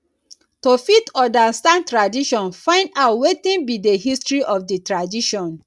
to fit understand tradition find out wetin be di history of di tradition